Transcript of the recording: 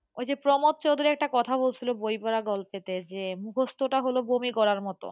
ওই যে প্রমোদ চৌধুরী একটা কথা বলেছিল বইমেলা গল্পেতে যে মুখস্থটা হল বমি করার মতো,